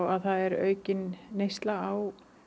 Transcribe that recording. að það er aukin neysla á